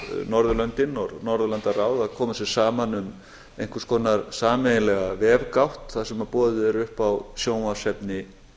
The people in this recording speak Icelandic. norðurlöndin og norðurlandaráð að koma sér saman um einhvers konar sameiginlega vefgátt þar sem boðið er upp á sjónvarpsefni